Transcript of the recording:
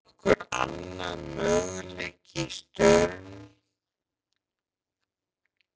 Var nokkur annar möguleiki í stöðunni?